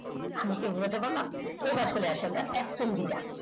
আমি কি বোঝাতে পারলাম এইবার তালে আসি আমরা একদম